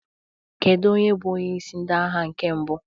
Kedu onye bụ onyeisi ndị agha nke mbụ?